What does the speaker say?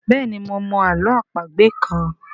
béèni mo mọ àlọ́ àpagbè kán.